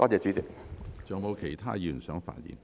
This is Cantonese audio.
是否有其他議員想發言？